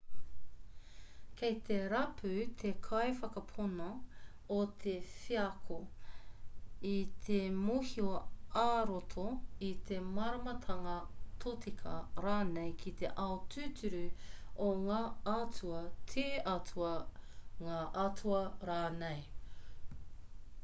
kei te rapu te kaiwhakapono i te wheako i te mōhio ā-roto i te māramatanga tōtika rānei ki te ao tūturu o ngā atua/te atua ngā atua rānei